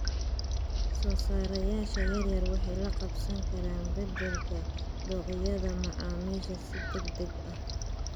Soosaarayaasha yaryar waxay la qabsan karaan beddelka dookhyada macaamiisha si degdeg ah.